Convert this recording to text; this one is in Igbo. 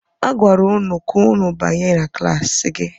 A gwara ụnụ ka ụnụ banye na klaasị gị!